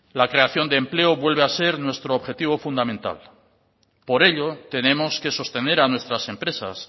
la creación de empleo vuelve a ser nuestro objetivo fundamental por ello tenemos que sostener a nuestras empresas